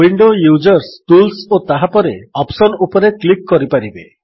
window users tools ଓ ତାପରେ option ଉପରେ କ୍ଲିକ୍ କରିପାରିବେ